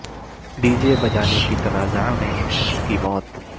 D J بجانے کے تنازعہ میں ایک شخص کی موت